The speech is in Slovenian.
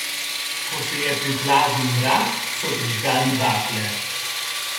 Ko se je priplazil mrak, so prižgali bakle.